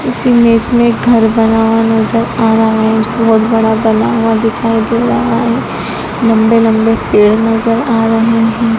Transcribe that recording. इस इमेज में घर बना हुआ नजर आ रहा है बहुत बड़ा बना हुआ दिखाई दे रहा है लंबे लंबे पेड़ नजर आ रहे हैं।